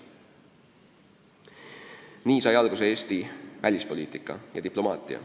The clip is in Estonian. " Nii sai alguse Eesti välispoliitika ja diplomaatia.